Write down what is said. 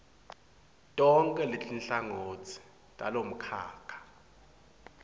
tonkhe letinhlangotsi talomkhakha